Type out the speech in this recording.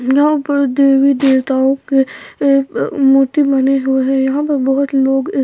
यहां पर देवी देवताओं के अ मूर्ति बने हुए यहां पर बहुत लोग--